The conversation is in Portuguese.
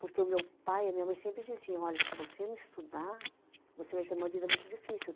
Porque o meu pai e a minha mãe sempre diziam, olha, se você não estudar, você vai ter uma vida muito difícil.